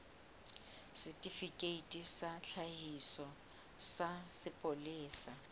setifikeiti sa tlhakiso sa sepolesa